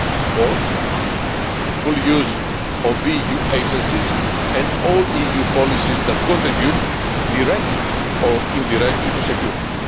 Fourthly, full use of EU agencies and all EU policies that contribute directly or indirectly to security.